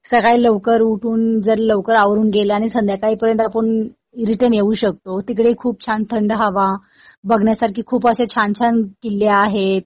सकाळी लवकर उठून जर लवकर आवरून गेलं आणि संध्याकाळपर्यंत आपण रिटर्न येऊ शकतो. तिकडे खूप छान थंड हवा बघण्यासारखे खूप असे छान छान किल्ले आहेत.